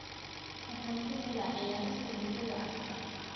Waxaan ka helaa ciyaarista kubbadda cagta.